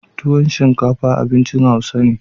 tuwon shinkafa abincin hausawa ne